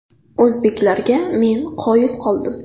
O‘zbeklarga men qoyil qoldim.